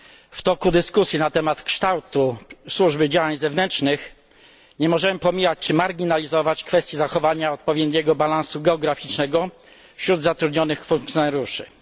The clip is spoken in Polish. W toku dyskusji na temat kształtu Służby Działań Zewnętrznych nie możemy pomijać czy marginalizować kwestii zachowania odpowiedniego balansu geograficznego wśród zatrudnionych urzędników.